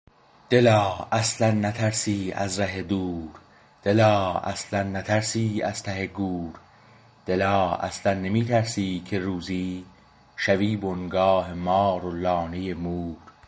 دلا اصلا نترسی از ره دور دلا اصلا نترسی از ته گور دلا اصلا نمی ترسی که روزی شوی بنگاه مار و لانه مور